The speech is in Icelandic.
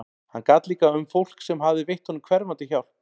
Hann gat líka um fólk sem hafði veitt honum hverfandi hjálp.